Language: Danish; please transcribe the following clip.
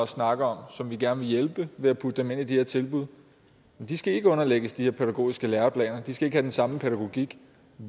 snakker om og som vi gerne vil hjælpe ved at putte dem ind i de her tilbud skal ikke underlægges de her pædagogiske læreplaner de skal ikke have den samme pædagogik